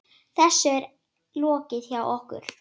Þessu er lokið hjá okkur.